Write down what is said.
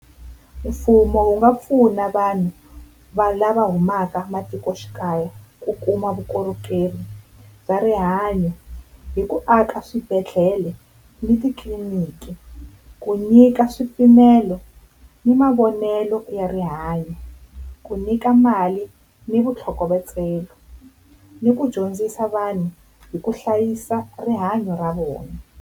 Mfumo wu nga pfuna vanhu lava humaka matikoxikaya ku kuma vukorhokeri bya rihanyo hi ku aka swibedhlele ni titliliniki, ku nyika swipimelo ni mavonelo ya rihanyo, ku nyika mali ni vutlhokovetselo, ni ku dyondzisa vanhu hi ku hlayisa rihanyo ra vona.